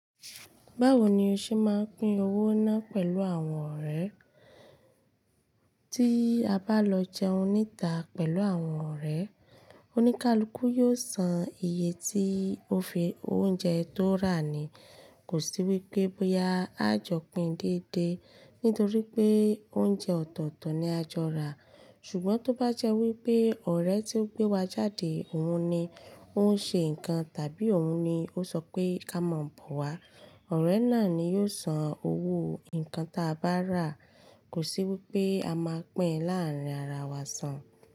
Báwo ni o ṣe máa ń pín owó náà pẹ̀lú àwọn ọ̀rẹ́? Tí a bá lọ jẹun níta pẹ̀lú àwọn ọ̀rẹ́, oníkálukú yóò san iye tí ó fi, oúnjẹ tó rà ni. Kò sí wípé bóyá a jọ pín déédéé nítorí pé oúnjẹ ọ̀tọ̀ọ̀tọ̀ ni a jọ rà, ṣùgbọ́n tó bá jẹ́ wípé ọ̀rẹ́ tí ó gbé wa jáde òun ni ó ń ṣe nǹkan tàbí òun ni ó sọ pé ká mọ̀ bọ̀ wá, ọ̀rẹ́ náà ni yóò san owó nǹkan tí a bá rà. Kò sí wípé a máa pín láàárín ara wa sàn.